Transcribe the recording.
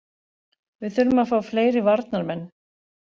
Við þurfum að fá fleiri varnarmenn.